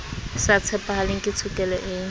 sa tshepahaleng ke tshokelo e